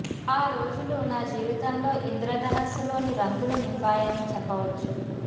ఆ రోజులు నా జీవితంలో ఇంద్రదనుస్సు లోని రంగులు నింపాయని చెప్పవచ్చు